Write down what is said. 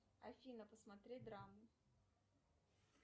афина посмотреть драму